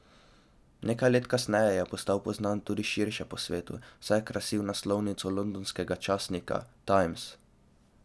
Nekaj let kasneje je postal poznan tudi širše po svetu, saj je krasil naslovnico londonskega časnika Times.